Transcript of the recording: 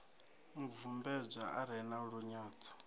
mubvumbedzwa a re na lunyadzo